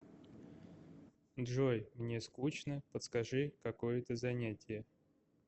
джой мне скучно подскажи какое то занятие